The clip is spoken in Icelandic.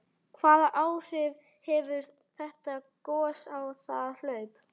Hvaða áhrif hefur þetta gos á það hlaup?